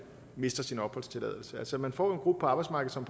mister sin opholdstilladelse altså man får gruppe på arbejdsmarkedet som